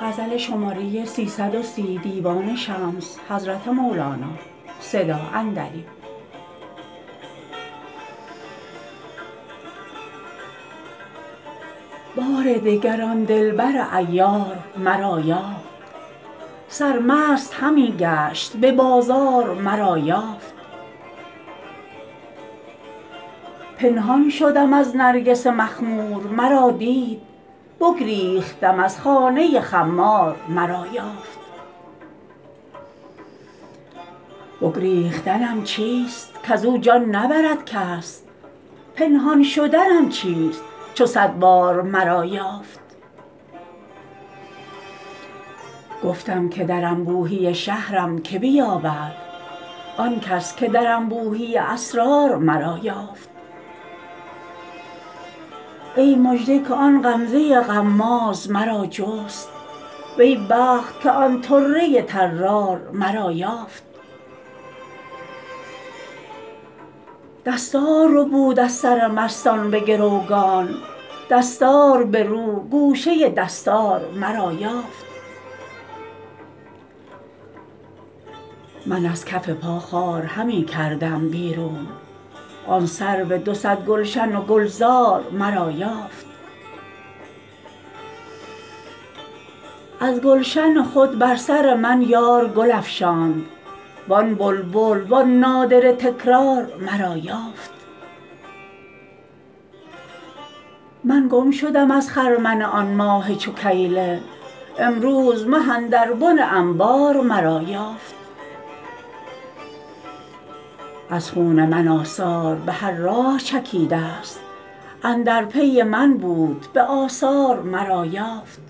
بار دگر آن دلبر عیار مرا یافت سرمست همی گشت به بازار مرا یافت پنهان شدم از نرگس مخمور مرا دید بگریختم از خانه خمار مرا یافت بگریختنم چیست کز او جان نبرد کس پنهان شدنم چیست چو صد بار مرا یافت گفتم که در انبوهی شهرم که بیابد آن کس که در انبوهی اسرار مرا یافت ای مژده که آن غمزه غماز مرا جست وی بخت که آن طره طرار مرا یافت دستار ربود از سر مستان به گروگان دستار برو گوشه دستار مرا یافت من از کف پا خار همی کردم بیرون آن سرو دو صد گلشن و گلزار مرا یافت از گلشن خود بر سر من یار گل افشاند وان بلبل وان نادره تکرار مرا یافت من گم شدم از خرمن آن ماه چو کیله امروز مه اندر بن انبار مرا یافت از خون من آثار به هر راه چکیدست اندر پی من بود به آثار مرا یافت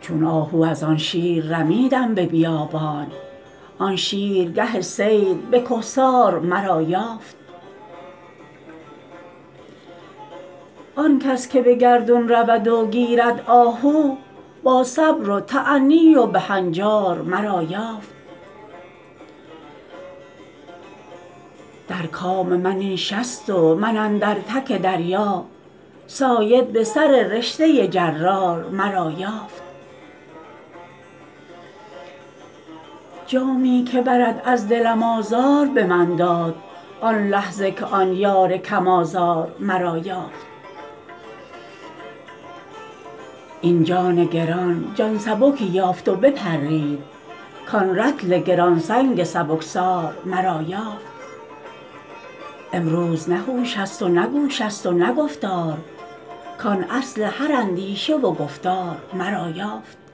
چون آهو از آن شیر رمیدم به بیابان آن شیر گه صید به کهسار مرا یافت آن کس که به گردون رود و گیرد آهو با صبر و تأنی و به هنجار مرا یافت در کام من این شست و من اندر تک دریا صاید به سررشته جرار مرا یافت جامی که برد از دلم آزار به من داد آن لحظه که آن یار کم آزار مرا یافت این جان گران جان سبکی یافت و بپرید کان رطل گران سنگ سبکسار مرا یافت امروز نه هوش است و نه گوش است و نه گفتار کان اصل هر اندیشه و گفتار مرا یافت